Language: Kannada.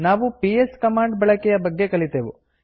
ನಾವು ಪಿಎಸ್ ಕಮಾಂಡ್ ಬಳಕೆಯ ಬಗ್ಗೆ ಕಲಿತೆವು